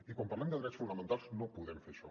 i quan parlem de drets fonamentals no podem fer això